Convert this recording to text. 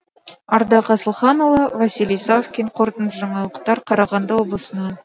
ардақ асылханұлы василий савкин қорытынды жаңалықтар қарағанды облысынан